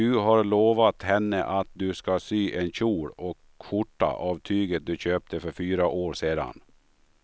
Du har lovat henne att du ska sy en kjol och skjorta av tyget du köpte för fyra år sedan.